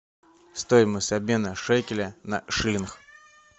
стоимость обмена шекеля на шиллинг